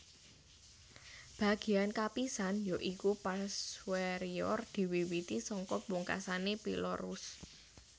Bagéyan kapisan ya iku pars suoerior diwiwiti saka pungkasané pilorus